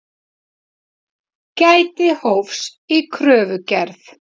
Gæti hófs í kröfugerð